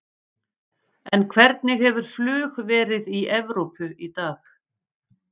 En hvernig hefur flug verið í Evrópu í dag?